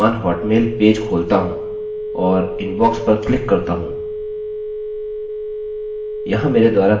आप देख सकते हैं जब मैं अपना वर्तमान hotmail पेज खोलता हूँ और inbox पर क्लिक करता हूँ यहाँ मेरे द्वारा कोई भी इमेल्सemails नहीं है